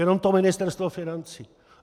Jenom to Ministerstvo financí!